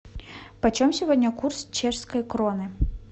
почем сегодня курс чешской кроны